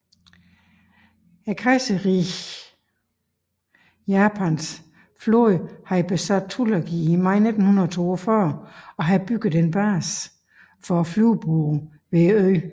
Kejserriget Japans flåde havde besat Tulagi i maj 1942 og havde bygget en base for flyvebåde ved øen